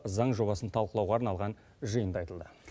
заң жобасын талқылауға арналған жиында айтылды